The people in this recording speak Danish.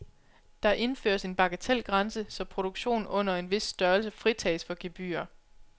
Der indføres en bagatelgrænse, så produktion under en vis størrelse fritages for gebyrer.